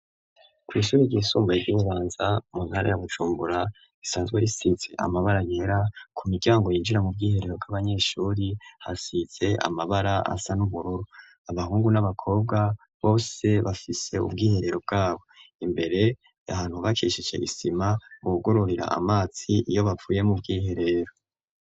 Kw'ishuri ryisumbo ry'inganza mu ntara ya bucumbura isanzwe risize amabara nyera ku miryango yinjira mu bwiherero bw'abanyeshuri hasize amabara asa n'ubururu abahungu n'abakobwa bose bafise ubwiherero bwabo imbere ahantu bakishishe isima uwugororira amatsi iyo baa fuye mu ubwiherero.